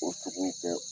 O togo tɛ